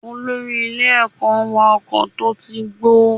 Olórí ilé ẹ̀kọ́ ń wa ọkọ̀ tó ti gbó.